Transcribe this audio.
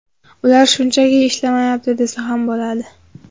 Ular shunchaki ishlamayapti desa ham bo‘ladi .